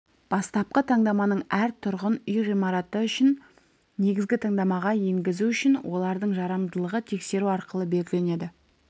бастапқы таңдаманың әр тұрғын үй ғимараты үшін негізгі таңдамаға енгізу үшін олардың жарамдылығы тексеру арқылы белгіленеді